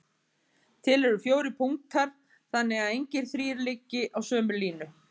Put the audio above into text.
Til eru fjórir punktar þannig að engir þrír liggi á sömu línu.